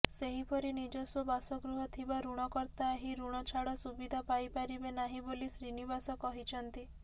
ସେହିପରି ନିଜସ୍ୱ ବାସଗୃହ ଥିବା ଋଣକର୍ତ୍ତା ଏହି ଋଣ ଛାଡ଼ ସୁବିଧା ପାଇପାରିବେ ନାହିଁ ବୋଲି ଶ୍ରୀନିବାସ କହିଛନ୍ତି